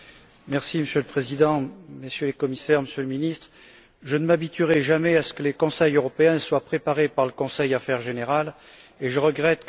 Monsieur le Président, Messieurs les Commissaires, Monsieur le Ministre, je ne m'habituerai jamais à ce que les Conseils européens soient préparés par le Conseil Affaires générales, et je regrette que M.